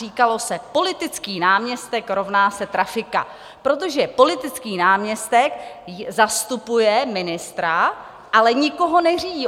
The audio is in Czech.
Říkalo se: Politický náměstek rovná se trafika, protože politický náměstek zastupuje ministra, ale nikoho neřídí.